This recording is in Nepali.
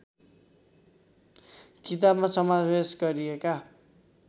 किताबमा समावेश गरिएका